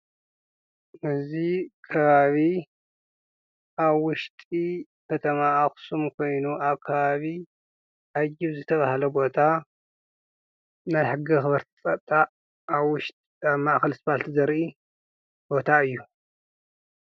እዚ ከባቢ አብ ውሽጢ ከተማ አክሱም ኮይኑ፤ አብ ከባቢ አጅብ ዝተብሃለ ቦታ ናይ ሕጊ አኽበሪቲ ፀጥታ አብ ውሽጢ ማእኸል ስፓልት ዘርኢ ቦታ እዩ፡፡